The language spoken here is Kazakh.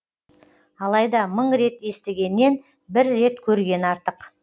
алайда мың рет естігеннен бір рет көрген артық